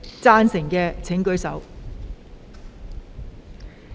贊成的請舉手。